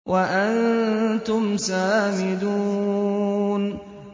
وَأَنتُمْ سَامِدُونَ